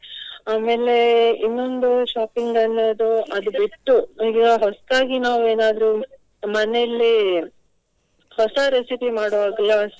ಆಮೇಲೆ ಇನ್ನೊಂದು shopping ಅನ್ನೋದು ಅದು ಬಿಟ್ಟು ಈಗ ಹೊಸ್ತಾಗಿ ನಾವು ಏನಾದ್ರು ಮನೆಯಲ್ಲಿ ಹೊಸ recipe ಮಾಡುವಾಗ್ಲೂ ಅಷ್ಟೇ.